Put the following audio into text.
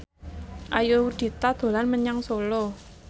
Ayudhita dolan menyang Solo